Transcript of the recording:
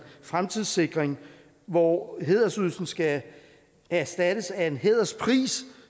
fremtidssikring hvor hædersydelsen skal erstattes af en hæderspris